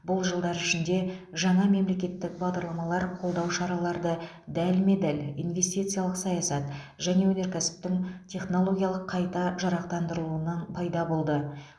бұл жылдар ішінде жаңа мемлекеттік бағдарламалар қолдау шаралары дәлме дәл инвестициялық саясат және өнеркәсіптің технологиялық қайта жарақтандырылуы пайда болды